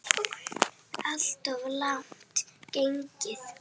Alltof langt gengið.